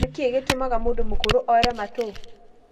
Nĩkĩ gĩtũmaga mũndũ mũkũrũ ore matũ?